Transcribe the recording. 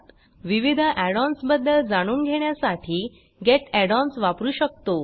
विविध add ons बद्दल जाणून घेण्यासाठी गेट add ओएनएस वापरू शकतो